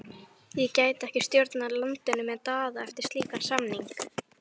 Ég gæti ekki stjórnað landinu með Daða eftir slíkan samning.